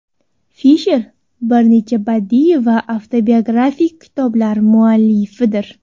Fisher bir necha badiiy va avtobiografik kitoblar muallifidir.